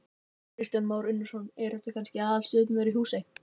Kristján Már Unnarsson: Eru þetta kannski aðalstjörnunnar í Húsey?